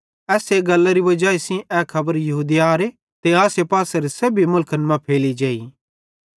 एस्से गल्लरी वजाई सेइं ए खबर यहूदियारे ते आसेपासेरे सेब्भी मुलखन मां फैली जेई